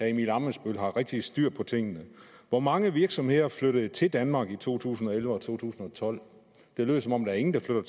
emil ammitzbøll har rigtig godt styr på tingene hvor mange virksomheder flyttede til danmark i to tusind og elleve og 2012 det lød som om der ikke var